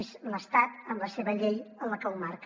és l’estat amb la seva llei qui ho marca